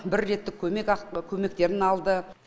бір реттік көмек ақ көмектерін алды